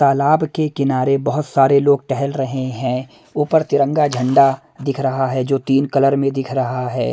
तालाब के किनारे बहुत सारे लोग टहल रहे हैं ऊपर तिरंगा झंडा दिख रहा है जो तीन कलर में दिख रहा है।